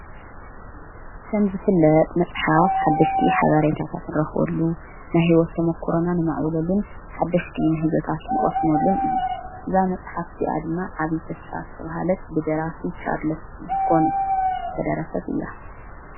ከምዝፍለድ መጽሓፍ ሓደሽቲ ኃብሬታታት ንረኽወሉ ናሕይወትቶም ተመኰሮናን መዕብበሉን ሓደሽቲ ምሕዞታት ንቐስሞሉን እዩ እዛ መጽሓፍ ዚኣድማ ዓብዪ ተስፋ ዝተብሃለት ብደራሲ ሻርለስ ዲኮንስ ዝተደረሰት እያ።